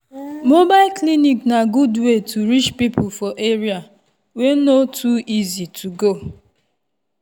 mobile clinic na good way to reach people for area wey no too easy to go.